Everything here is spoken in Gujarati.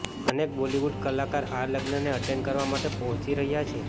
અનેક બોલીવુડ કલાકાર આ લગ્નને અટેંડ કરવા માટે પહોંચી રહ્યા છે